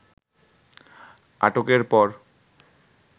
আটকের পর